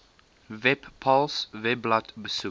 webpals webblad besoek